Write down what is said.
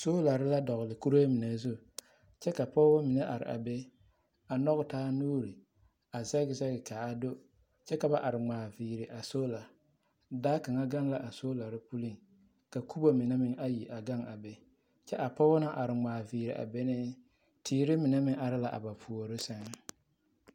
Soolare la dɔgle kuree mine zu kyɛ ka pɔgebɔ mine are a be a nɔge taa nuuri a zɛge zɛge kaa do kyɛ ka ba are ŋmaa viiri a soola baa kaŋa gaŋ la a soolare puliŋka kubo mine meŋ ayi a gaŋ a be kyɛ a pɔgeba naŋ are ŋmaa viiri a benee teere mine meŋ are la a ba puori sɛŋ.